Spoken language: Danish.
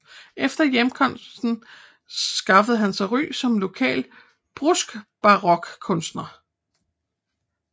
Efter hjemkomsten skaffede han sig ry som lokal bruskbarokkunstner